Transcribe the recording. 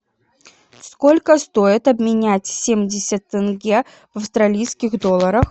сколько стоит обменять семьдесят тенге в австралийских долларах